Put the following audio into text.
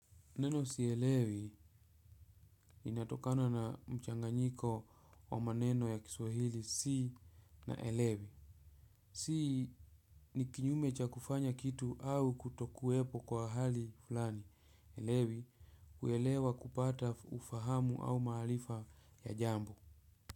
Neno sielewi inatokana na mchanganyiko wa maneno ya kiswahili si na elewi. Si ni kinyume cha kufanya kitu au kutokuwepo kwa hali fulani. Elewi kuelewa kupata ufahamu au maarifa ya jambo.